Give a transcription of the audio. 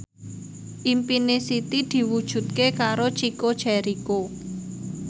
impine Siti diwujudke karo Chico Jericho